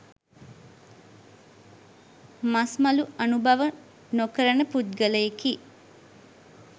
මස් මලු අනුභව නොකරන පුද්ගලයෙකි.